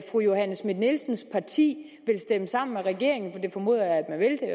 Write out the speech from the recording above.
fru johanne schmidt nielsens parti vil stemme sammen med regeringen for det formoder jeg